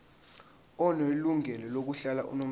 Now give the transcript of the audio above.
onelungelo lokuhlala unomphela